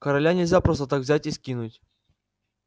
короля нельзя просто так взять и скинуть